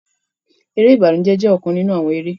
Eré ìbànújẹ jẹ ọkan ninu awọn eré.